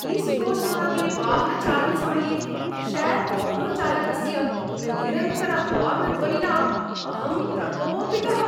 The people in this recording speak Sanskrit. ईस्ट् कोस्ट् मार्गे वाहनचालनसमये शेर् आटोचालकस्य निरन्तरहार्न् ध्वनिना अहं प्रकोपितः।